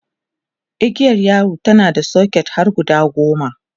igiyar yawon tana da socket har guda goma